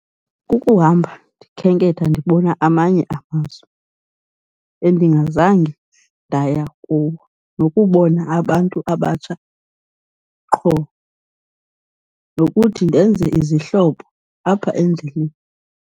Kukuhamba ndikhenketha ndibona amanye amazwe endingazange ndaya kuwo nokubona abantu abatsha qho, nokuthi ndenze izihlobo apha endleleni.